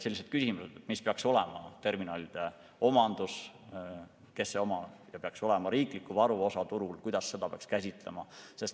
Sellised küsimused: kellele peaks terminalid kuuluma, kes neid omab, kui suur peaks olema riikliku varu osakaal turul, kuidas seda peaks käsitlema.